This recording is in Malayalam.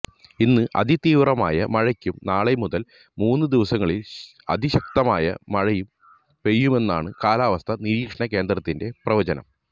ഇന്ന് അതിതീവ്രമായ മഴയ്ക്കും നാളെ മുതല് മൂന്ന് ദിവസങ്ങളില് അതിശക്തമായ മഴയും പെയ്യുമെന്നാണ് കാലാവസ്ഥാ നിരീക്ഷണ കേന്ദ്രത്തിന്റെ പ്രവചനം